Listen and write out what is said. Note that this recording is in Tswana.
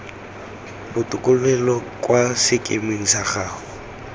botokololo kwa sekemeng sa gago